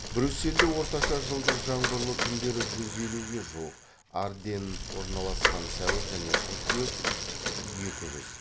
брюссельде орташа жылдық жаңбырлы күндері жүз елуге жуық арденн орналасқан сәуір және қыркүйек екі жүз